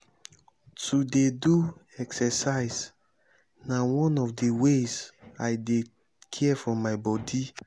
to dey do exercise na one of di ways i dey care for my bodi.